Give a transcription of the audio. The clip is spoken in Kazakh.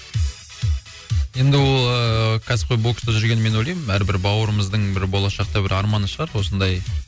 енді ол ыыы кәсіпқой бокста жүрген мен ойлаймын әрбір бауырымыздың бір болашақта бір арманы шығар осындай